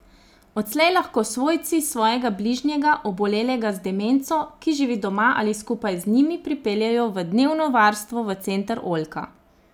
Odslej lahko svojci svojega bližnjega, obolelega z demenco, ki živi doma ali skupaj z njimi pripeljejo v dnevno varstvo v center Oljka.